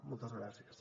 moltes gràcies